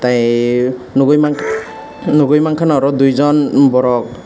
nogoi mangka nogoi mangka oro duijon borok.